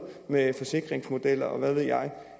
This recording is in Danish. med forsikringsmodeller og hvad ved jeg